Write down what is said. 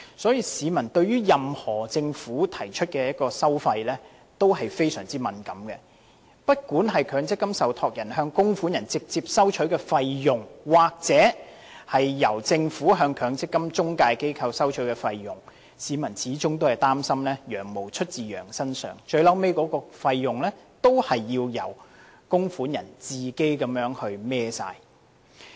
因此，市民對政府提出的任何收費項目也非常敏感，不管是強積金受託人向供款人直接收取的費用，還是政府向強積金中介機構收取的費用，他們始終擔心"羊毛出自羊身上"，最終還是要由供款人自行承擔所有費用。